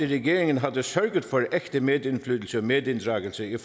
regeringen havde sørget for ægte medindflydelse og medinddragelse i